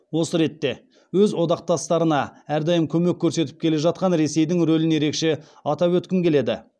осы ретте өз одақтастарына әрдайым көмек көрсетіп келе жатқан ресейдің рөлін ерекше атап өткім келеді